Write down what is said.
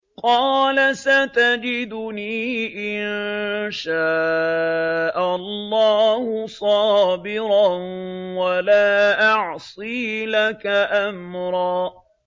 قَالَ سَتَجِدُنِي إِن شَاءَ اللَّهُ صَابِرًا وَلَا أَعْصِي لَكَ أَمْرًا